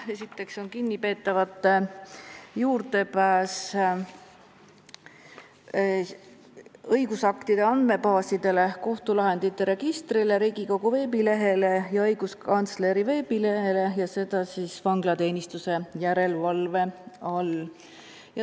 Esiteks, kinnipeetavate juurdepääs õigusaktide andmebaasidele, kohtulahendite registrile, Riigikogu veebilehele ja õiguskantsleri veebilehele, seda siis vanglateenistuse järelevalve all.